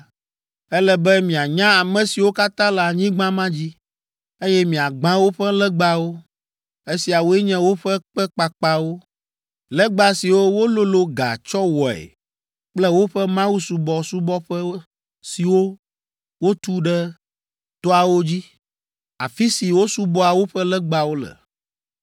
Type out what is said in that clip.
ele be mianya ame siwo katã le anyigba ma dzi, eye miagbã woƒe legbawo; esiawoe nye woƒe kpe kpakpawo, legba siwo wololo ga tsɔ wɔe kple woƒe mawusubɔƒe siwo wotu ɖe toawo dzi, afi si wosubɔa woƒe legbawo le.